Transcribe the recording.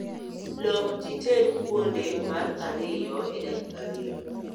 Lok tited kuonde mar ariyo e dakika ariyo